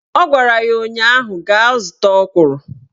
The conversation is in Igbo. Ọ gwara ya ụnyaahụ "Gaa zụta ọkwụrụ!"